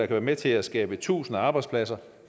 være med til at skabe tusinder arbejdspladser